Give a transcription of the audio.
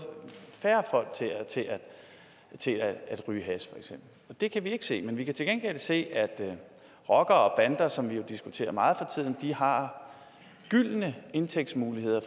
færre folk til at ryge hash det kan vi ikke se men vi kan til gengæld se at rockere og bander som vi diskuterer meget har gyldne indtægtsmuligheder